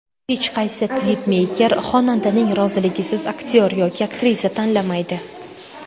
Hech qaysi klipmeyker xonandaning roziligisiz aktyor yoki aktrisa tanlamaydi.